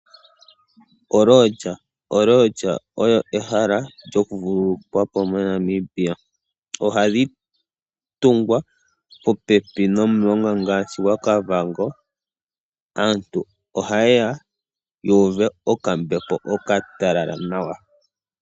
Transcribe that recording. Oolodge Olodge oyo ehala lyoku vululukwapo moNamibia. Ohadhi tungwa popepi nomulonga ngaashi gwa Kavango, aantu ohayeya yuuve okambepo okatalala nawa.